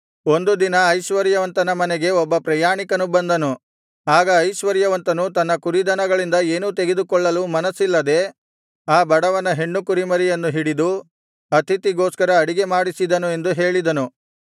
ಒಂದು ದಿನ ಐಶ್ವರ್ಯವಂತನ ಮನೆಗೆ ಒಬ್ಬ ಪ್ರಯಾಣಿಕನು ಬಂದನು ಆಗ ಐಶ್ವರ್ಯವಂತನು ತನ್ನ ಕುರಿದನಗಳಿಂದ ಏನೂ ತೆಗೆದುಕೊಳ್ಳಲು ಮನಸ್ಸಿಲ್ಲದೆ ಆ ಬಡವನ ಹೆಣ್ಣುಕುರಿಮರಿಯನ್ನು ಹಿಡಿದು ಅತಿಥಿಗೋಸ್ಕರ ಅಡಿಗೆ ಮಾಡಿಸಿದನು ಎಂದು ಹೇಳಿದನು